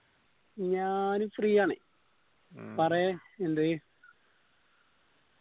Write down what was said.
ഞാൻ free യാണ് പറയ് എന്തേയ്